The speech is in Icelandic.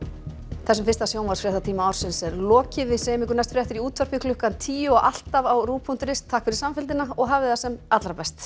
þessum fyrsta sjónvarpsfréttatíma ársins er lokið við segjum ykkur næst fréttir í útvarpi klukkan tíu og alltaf á rúv punktur is takk fyrir samfylgdina og hafið það sem allra best